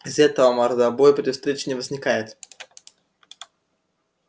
из-за этого мордобой при встрече не возникает